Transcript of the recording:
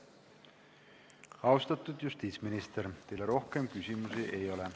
Austatud justiitsminister, teile rohkem küsimusi ei ole.